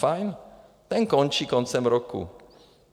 Fajn, ten končí koncem roku.